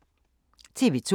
TV 2